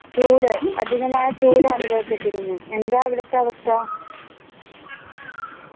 ചൂട് അധികമായ ചൂട് അനുഭവപ്പെട്ടിരുന്നു എന്താ അവിടെത്തെ അവസ്ഥ